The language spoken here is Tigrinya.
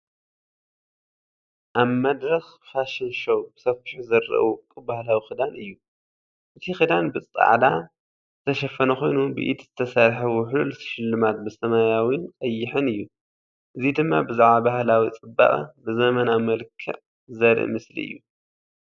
ኣብ መድረኽ ፋሽን ሾው ብሰፊሑ ዝረአ ውቁብ ባህላዊ ክዳን እዩ። እቲ ክዳን ብጻዕዳ ዝተሸፈነ ኮይኑ፡ ብኢድ ዝተሰርሐ ውሕሉል ስልማት ብሰማያውን ቀይሕን እዩ። እዚ ደማ ብዛዕባ ባህላዊ ጽባቐ ብዘመናዊ መልክዕ ዘርኢ ምስሊ እዩ።